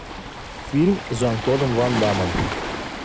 фильм с жан клодом ван даммом